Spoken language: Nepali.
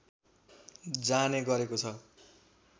जाने गरेको छ